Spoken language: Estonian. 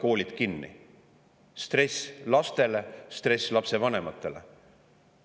See oli stress nii laste kui ka lapsevanemate jaoks.